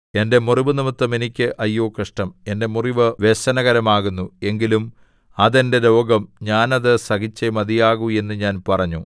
എന്റെ മുറിവുനിമിത്തം എനിക്ക് അയ്യോ കഷ്ടം എന്റെ മുറിവ് വ്യസനകരമാകുന്നു എങ്കിലും അത് എന്റെ രോഗം ഞാൻ അത് സഹിച്ചേ മതിയാവു എന്ന് ഞാൻ പറഞ്ഞു